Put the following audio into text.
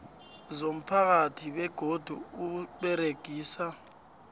zomphakathi begodu usebenzisa